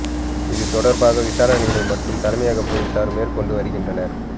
இது தொடர்பாக விசாரணைகளை மட்டு தலைமையக பொலிஸார் மேற் கொண்டு வருகின்றனர்